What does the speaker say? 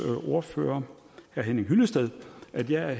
ordfører herre henning hyllested at jeg